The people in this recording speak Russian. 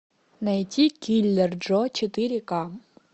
найти киллер джо четыре ка